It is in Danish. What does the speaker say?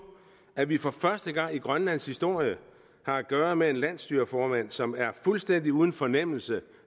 at vi for første gang i grønlands historie har at gøre med en landsstyreformand som er fuldstændig uden fornemmelse